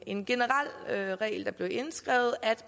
en generel regel der blev indskrevet at